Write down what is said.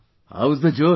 How is the Josh